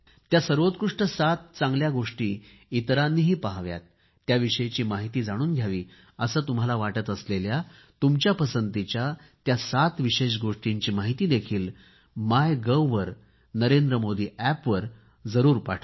त्या सर्वोकृष्ट सात चांगल्या गोष्टी इतरांनीही पहाव्यात त्याविषयी माहिती जाणून घ्यावी असे तुम्हाला वाटत असलेल्या तुमच्या पसंतीच्या त्या सात विशेष गोष्टींची माहितीही मायगव्ह वर नरेंद्र मोदी अॅपवर जरूर पाठवा